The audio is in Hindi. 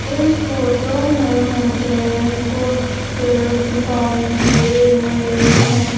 इस फोटो में मुझे कुछ पेड़ दिखाई दे रहे हैं।